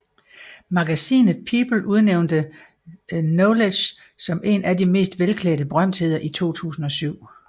Magasinet People udnævnte Knowles som en af de mest velklædte berømtheder i 2007